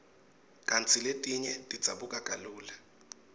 kantsi letinye tidzabuka kalula